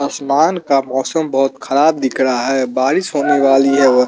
आसमान का मौसम बहोत खराब दिख रहा है बारिश होने वाली है व--